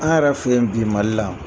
An' yɛrɛ fe yen bi Mali la